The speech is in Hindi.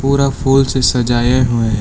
पूरा फुल से सजाए हुए हैं।